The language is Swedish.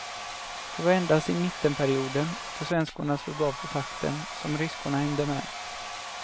Det var endast i mittenperioden, då svenskorna slog av på takten, som ryskorna hängde med.